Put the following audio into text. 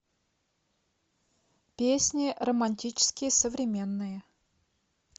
песни романтические современные